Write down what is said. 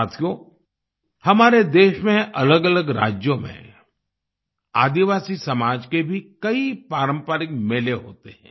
साथियो हमारे देश में अलग अलग राज्यों में आदिवासी समाज के भी कई पारंपरिक मेले होते हैं